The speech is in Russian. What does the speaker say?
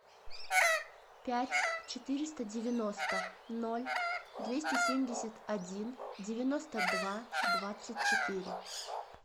пять четыреста девяносто ноль двести семьдесят один девяносто два двадцать четыре